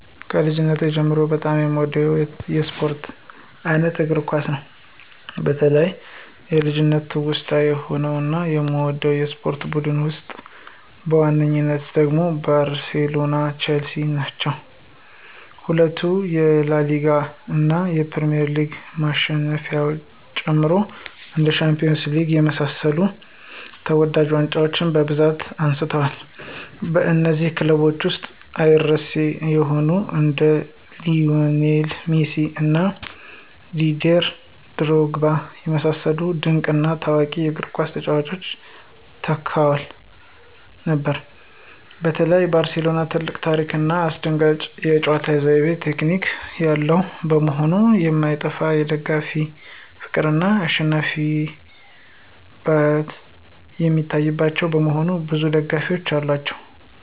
ከልጅነቴ ጀምሮ በጣም የምወደው የስፖርት አይነት እግር ኳስ ነው። በተለይ የልጅነት ትውስታዎች የሆኑት እና የምደግፈው የስፖርት ቡድን ውስጥ በዋናነት ደግሞ ባርሴሎና ቸልሲ ነው። ሁለቱም የላሊጋ እና የፕሪሚየር ሊግ ማሸነፊያዎችን ጨምሮ እንደ ሻምፒዮንስ ሊግ የመሳሰሉ ተወዳጅ ዋንጫዎችን በብዛት አንስተዋል። በነዚህም ክለቦች ውስጥ አይረሴ የሆኑ እንደ ሊዎኔል ሜሲ እና ዲዴር ድሮግባ የመሰሉ ድንቅ እና ታዋቂ የእግርኳስ ተጫዋቾች ተካተው ነበር። በተለይ ባርሴሎና ትልቅ ታሪክ ና አስደናቂ የጨዋታ ዘይቤ (ቴክኒክ) ያለው መሆኑ የማይጠፋ የደጋፊዎች ፍቅር እና አልሸነፍባይነት የሚታይባቸው በመሆኑ ብዙ ደጋፊዎች አሏቸው።